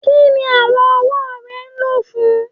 Kini awọn ọwọ rẹ lo fun?